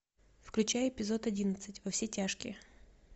включай эпизод одиннадцать во все тяжкие